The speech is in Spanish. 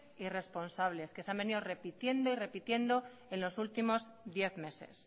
irresponsables que se han venido repitiendo y repitiendo en los últimos diez meses